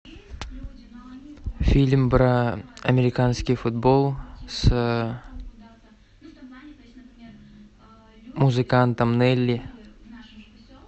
фильм про американский футбол с музыкантом нелли